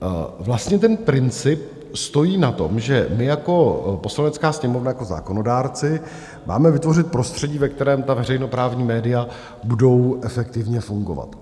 Vlastně ten princip stojí na tom, že my jako Poslanecká sněmovna, jako zákonodárci, máme vytvořit prostředí, ve kterém ta veřejnoprávní média budou efektivně fungovat.